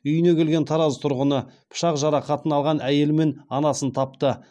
үйіне келген тараз тұрғыны пышақ жарақатын алған әйелі мен анасын тапты